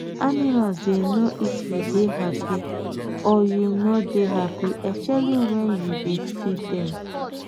animal dey know if you dey happy or you no dey happy especially wen you dey feed dem